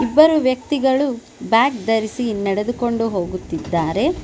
ಇಬ್ಬರು ವ್ಯಕ್ತಿಗಳು ಬ್ಯಾಗ್ ಧರಿಸಿ ನಡೆದುಕೊಂಡು ಹೋಗುತ್ತಿದ್ದಾರೆ.